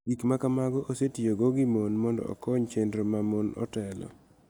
Gik ma kamago osetiyogo gi mon mondo okony chenro ma mon otelo,